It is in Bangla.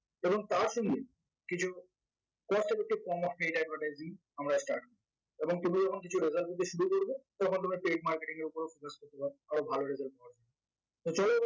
এবং তার সঙ্গে কিছু cost effective আমরা start করবো এবং তার মাধ্যমে paid marketing এর উপরেও আরো ভাল result পাওয়ার জন্য তো চল